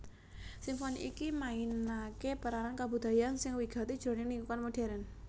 Simfoni iki mainaké peranan kabudayan sing wigati jroning lingkungan modhèrn